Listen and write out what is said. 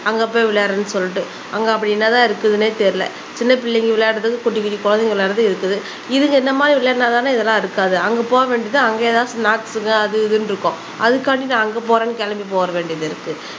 அங்க போய் விளையாடுறேன்னு சொல்லிட்டு அங்க அப்படி என்னதான் இருக்குதுன்னே தெரியல சின்ன பிள்ளைங்க விளையாடறதுக்கு குட்டி குட்டி குழந்தைங்க விளையாடுது இருக்குது இதுங்க இந்த மாதிரி விளையாடுனாதானே இதெல்லாம் இருக்காது அங்கே போக வேண்டியது அங்கே ஏதாவது ஸ்னாக்ஸ்ங்க அது இதுன்னு இருக்கும் அதுக்காண்டி நான் அங்கே போறேன்னு கிளம்பி போற வேண்டியது இருக்கு.